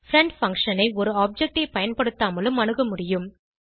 friend function ஐ ஒரு object ஐ பயன்படுத்தாமலும் அணுக முடியும்